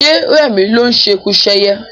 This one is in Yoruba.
Ṣé rẹmi ló ń ṣekuṣẹyẹ?